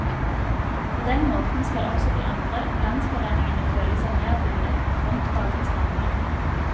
På den måten skal også de andre landsforeningene føle seg mer bundet av frontfagets rammer.